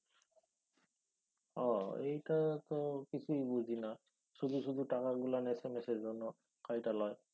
ও এইটা তো কিছুই বুঝি না। শুধু শুধু টাকাগুলান এস এম এসের জন্য কাইটা লয়।